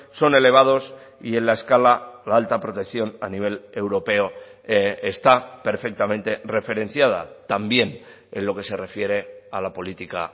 son elevados y en la escala la alta protección a nivel europeo está perfectamente referenciada también en lo que se refiere a la política